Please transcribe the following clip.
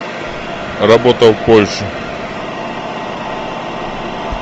работа в польше